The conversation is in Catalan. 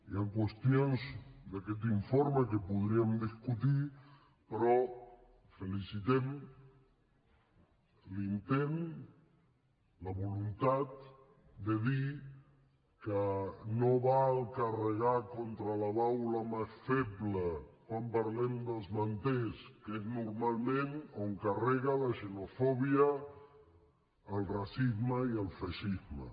hi han qüestions d’aquest informe que podríem discutir però felicitem l’intent la voluntat de dir que no val carregar contra la baula més feble quan parlem dels manters que és normalment on carrega la xenofòbia el racisme i el feixisme